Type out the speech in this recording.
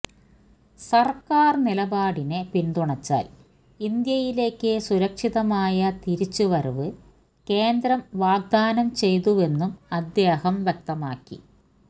സർക്കാർ നിലപാടിനെ പിന്തുണച്ചാൽ ഇന്ത്യയിലേക്ക് സുരക്ഷിതമായ തിരിച്ചുവരവ് കേന്ദ്രം വാഗ്ദാനം ചെയ്തുവെന്നും അദ്ദേഹം വ്യക്തമാക്കി